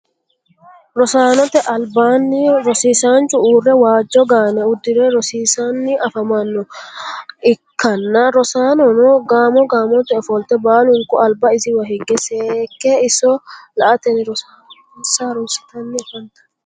rosaannote alibaani rosisaanchu uure waajo gaane udire rosiisani afamano ikanna rosaanonno gamo gamote ofolitte baalunku aliba isiwa higge seeke isso la'atenni rosonsa harunisitanni afanitanno.